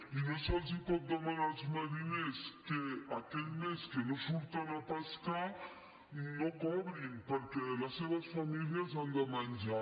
i no se’ls pot demanar als mariners que aquell mes que no surten a pescar no cobrin perquè les seves famílies han de menjar